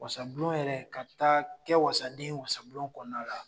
Wasabulon yɛrɛ ka taa kɛ wasaden ye wasabulon kɔnɔna la